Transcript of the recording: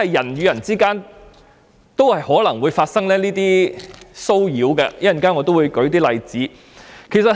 人與人之間也有可能出現騷擾的情況，我稍後會再列舉一些例子。